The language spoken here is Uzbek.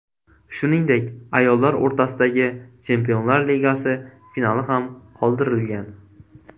Shuningdek, ayollar o‘rtasidagi Chempionlar Ligasi finali ham qoldirilgan.